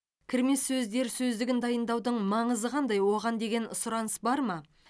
кірме сөздер сөздігін дайындаудың маңызы қандай оған деген сұраныс бар ма